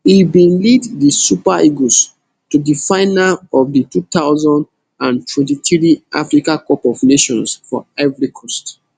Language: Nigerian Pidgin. e bin lead di super eagles to di final of di two thousand and twenty-three africa cup of nations for ivory coast